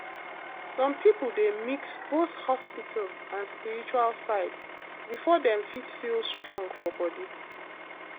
some people dey mix both hospital and spiritual side before dem fit feel strong for body